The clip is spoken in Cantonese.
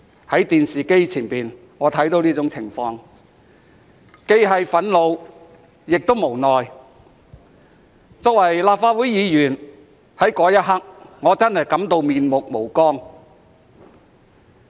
在電視機前的我看到這種情況，既憤怒亦無奈；作為立法會議員，我在那一刻真的感到面目無光。